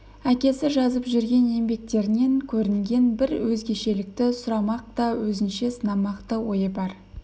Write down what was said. әкесі жазып жүрген еңбектерінен көрінген бір өзгешелікті сұрамақ та өзінше сынамақ та ойы бар